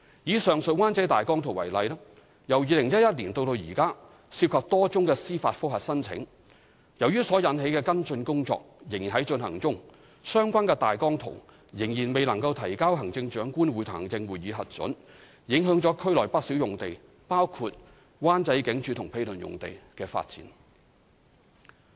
以上述灣仔大綱圖為例，由2011年至今涉及多宗司法覆核申請，由於所引起的跟進工作仍在進行中，相關大綱圖仍未能提交行政長官會同行政會議核准，影響了區內不少用地，包括舊灣仔警署及毗鄰用地的發展。